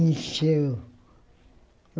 Encheu.